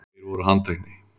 Tveir voru handtekni